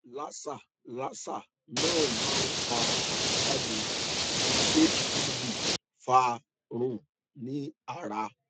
laser laser náà máa ń pa àbájáde tí hpv fa run ní ara